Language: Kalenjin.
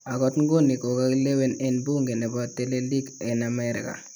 Ako nguni kokakilewen en buunke nebo teleliik en Amerika.